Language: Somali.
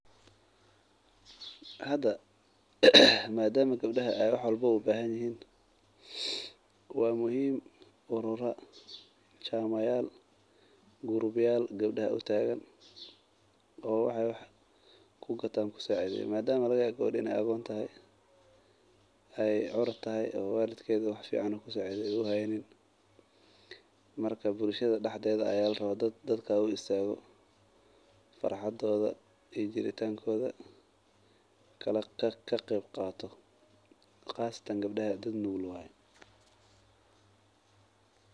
Hada madama gabdaha ay wax walbo u bahanyihin wa muhim urura chama yal group yal gabda u tagan oo waxay wax kugatan kusacideyo madama lagayabo gawada inay agon tahayay curuda tahay walidkeda ay wax fican ay kusacideyo u haynin marka bulshada daxdeda a laraba dadka, dadka oo u istaga farxadodo, iyo jiritankoda kaqebqato qasatan gabdaha dulnugul waye.